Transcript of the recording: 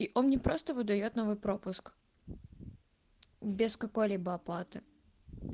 и он мне просто выдаёт новый пропуск без какой-либо оплаты